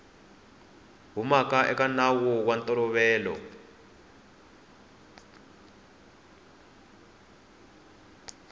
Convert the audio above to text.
humaka eka nawu wa ntolovelo